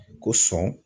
Ko sɔn